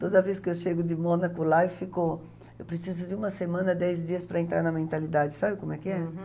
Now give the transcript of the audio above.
Toda vez que eu chego de Monaco lá, eu fico, eu preciso de uma semana, dez dias para entrar na mentalidade, sabe como é que é? Uhum.